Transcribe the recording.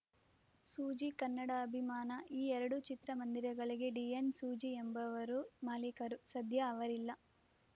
ಸೂಜಿ ಕನ್ನಡ ಅಭಿಮಾನ ಈ ಎರಡು ಚಿತ್ರ ಮಂದಿರಗಳಿಗೆ ಡಿಎನ್‌ ಸೂಜಿ ಎಂಬವರು ಮಾಲೀಕರು ಸದ್ಯ ಅವರಿಲ್ಲ